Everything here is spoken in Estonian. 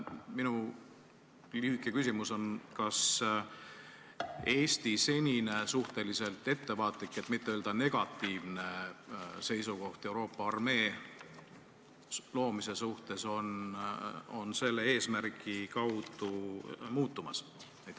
Minu lühike küsimus on: kas Eesti senine suhteliselt ettevaatlik, et mitte öelda negatiivne seisukoht Euroopa armee loomise suhtes on selle eesmärgi tõttu muutumas?